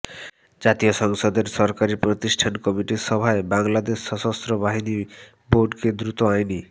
জাতীয় সংসদের সরকারি প্রতিষ্ঠান কমিটির সভায় বাংলাদেশ সশস্ত্র বাহিনী বোর্ডকে দ্রুত আইনী